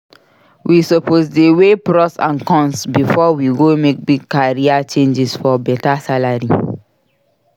We suppose dey weigh pros and cons before we go make big career changes for beta salary.